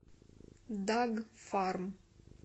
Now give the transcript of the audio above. дагфарм